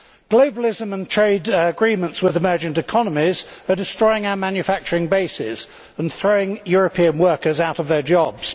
Globalism and trade agreements with emergent economies are destroying our manufacturing basis and throwing European workers out of their jobs.